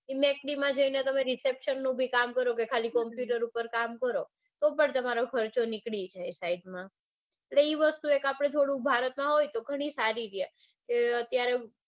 એ mac d માં જઈને તમે reception બી કામ કરો કે ખાલી computer ઉપર કામ કરો તો બ ખર્ચો નીકળી જાય side માં એટલે આપડે એ વસ્તુ ભારતમાં હોય તો ગણું સારું